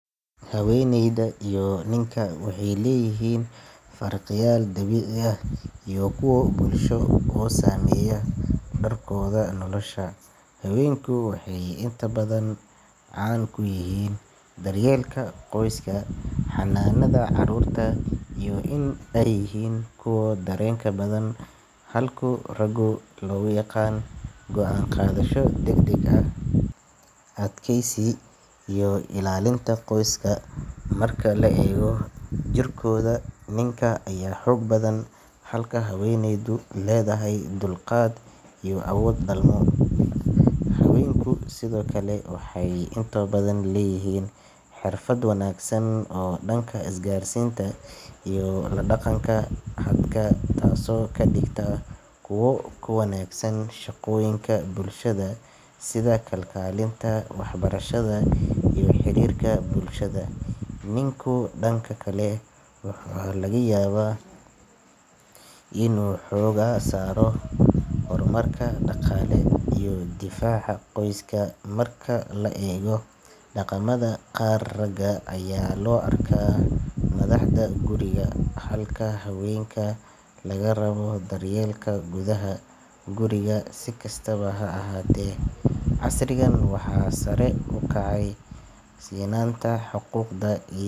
haweeneyda iyo ninka waxay leeyihiin farqiyaal dabiici ah iyo kuwo bulsho oo saameeya doorkooda nolosha haweenku waxay inta badan caan ku yihiin daryeelka qoyska, xanaanada caruurta, iyo in ay yihiin kuwa dareenka badan halka raggu lagu yaqaan go’aan qaadasho degdeg ah, adkaysi, iyo ilaalinta qoyska marka la eego jirkooda ninka ayaa xoog badan halka haweeneydu leedahay dulqaad iyo awood dhalmo haweenku sidoo kale waxay inta badan leeyihiin xirfad wanaagsan oo dhanka isgaarsiinta iyo la dhaqanka dadka taasoo ka dhigta kuwo ku wanaagsan shaqooyinka bulshada sida kalkaalinta, waxbarashada iyo xiriirka bulshada ninku dhanka kale waxaa laga yaabaa inuu xoogga saaro horumarka dhaqaale iyo difaaca qoyska marka la eego dhaqamada qaar ragga ayaa loo arkaa madaxda guriga halka haweenka laga rabo daryeelka gudaha guriga si kastaba ha ahaatee, casrigan waxaa sare u kacay sinaanta xuquuqda.